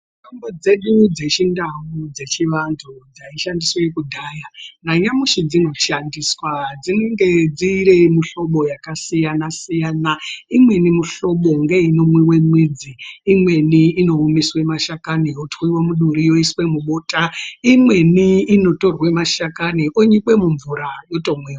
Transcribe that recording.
Mitombo dzedu dzechindau dzechivantu dzaishandiswe kudhaya nanyamashi dzinoshandiswa dzinenge dziri muhlobo yakasiyana siyana. Imweni muhlobo ngeinomwiwe mwidzi, imweni inoomeswe mashakani otwiwe muduri oiswe mubota , imweni inotorwe mashakani onyikwe mumvura otomwiwa.